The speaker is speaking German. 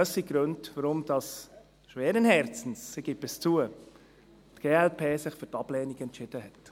Das sind die Gründe, warum – schweren Herzens, ich gebe es zu – die glp sich für die Ablehnung entschieden hat.